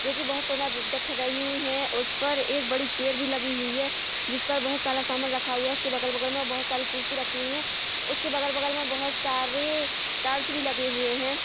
जो की बहोत सुन्दर दिख रही है उस पर एक बड़ी चेयर भी लगी हुई है जिस पर बोहत सारा समान रखा हुआ है उसके बगल-बगल में बहोत सारी कुर्सी रखी हुई है उसके बगल-बगल में बहोत सारे वाल्स भी लगे हुए हैं।